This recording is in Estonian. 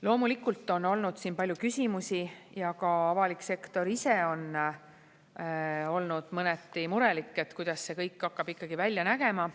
Loomulikult on olnud siin palju küsimusi ja ka avalik sektor ise on olnud mõneti murelik, et kuidas see kõik hakkab ikkagi välja nägema.